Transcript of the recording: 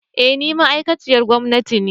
Eh ni ma'aikacin gwamnati ne